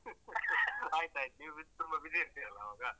ಆಯ್ತಾಯ್ತು ನೀವು ತುಂಬ busy ಇರ್ತೀರಲ್ಲ ಆವಾಗ.